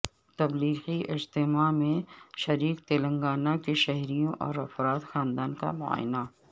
تبلیغی اجتماع میں شریک تلنگانہ کے شہریوں اور افراد خاندان کا معائنہ